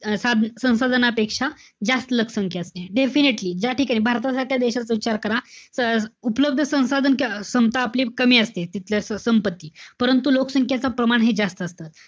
स~ संसाधनापेक्षा जास्त लोकसंख्या असली. Definitely ज्याठिकाणी, भारतासारख्या देशाचा विचार करा. तर उपलब्ध संसाधन क्षमता आपली कमी असेल, तिथलं संपत्ती. परंतु, लोकसंख्येचं प्रमाण हे जास्त असतात.